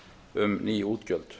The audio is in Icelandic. um ný útgjöld